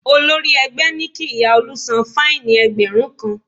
Olórí ẹgbẹ́ ní kí ìyá Olú san fáìnì ẹgbẹ̀rún kan